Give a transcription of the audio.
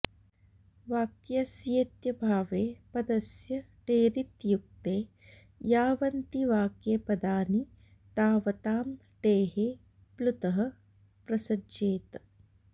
वाक्यस्येत्यभावे पदस्य टेरित्युक्ते यावन्ति वाक्ये पदानि तावतां टेः प्लुतः प्रसज्येत